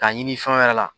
K'a ɲini fɛn wɛrɛ la